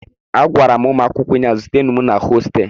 Agwara m ụmụ akwụkwọ ụnyahụ, zutenụ m na hostelụ